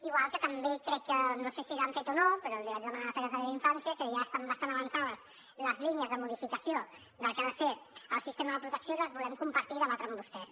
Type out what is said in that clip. igual que també crec que no sé si ho han fet o no però l’hi vaig demanar a la secretària d’infància ja estan bastant avançades les línies de modificació del que ha de ser el sistema de protecció i les volem compartir i debatre amb vostès